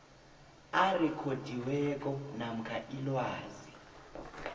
arekhodiweko namkha ilwazi